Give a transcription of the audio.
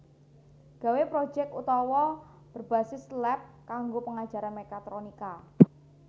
Gawe projek otawa berbasis lab kanggo pengajaran mekatronika